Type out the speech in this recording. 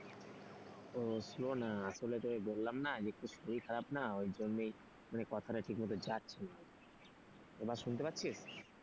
ওহ slow না আসলে তোকে বললাম না যে একটু শরীর খারাপ না ওই জন্যই মানে কথাটা ঠিক মতো যাচ্ছে না। এবার শুনতে পাচ্ছিস?